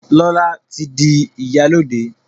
Lọla tí dì ìyálóde.